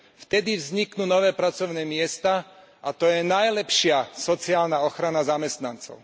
Vtedy vzniknú nové pracovné miesta a to je najlepšia sociálna ochrana zamestnancov.